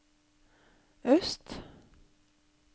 øst